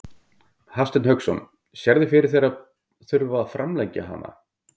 Hafsteinn Hauksson: Sérðu fyrir þér að þurfa að framlengja hana?